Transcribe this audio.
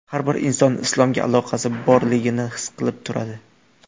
Har bir inson islomga aloqasi borligini his qilib turadi.